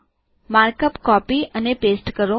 markup copy અને paste કરો